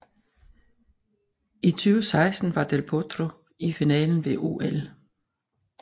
I 2016 var Del Potro i finalen ved OL